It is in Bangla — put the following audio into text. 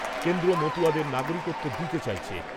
কেন্দ্র মতুয়াদের নাগরিকত্ব দিতে চাইছে।